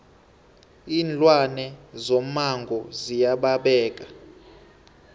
iinlwane zomango ziya babeka